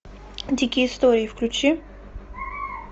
дикие истории включи